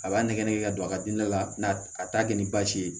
A b'a nɛgɛnɛgɛ ka don a gilida la n'a a t'a kɛ ni basi ye